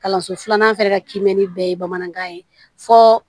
Kalanso filanan fɛnɛ ka kiimɛni bɛɛ ye bamanankan ye fɔ